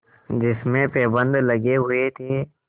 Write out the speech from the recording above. जिसमें पैबंद लगे हुए थे